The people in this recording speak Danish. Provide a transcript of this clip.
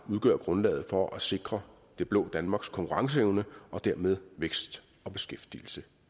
udgøre grundlaget for at sikre det blå danmarks konkurrenceevne og dermed vækst og beskæftigelse